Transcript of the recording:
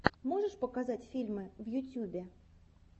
можешь показать фильмы в ютюбе